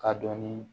K'a dɔnni